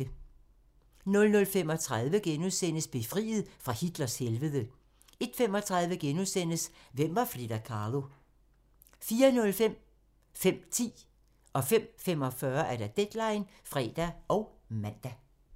00:35: Befriet fra Hitlers helvede * 01:35: Hvem var Frida Kahlo? * 04:05: Deadline (fre og man) 05:10: Deadline (fre og man) 05:45: Deadline (fre og man)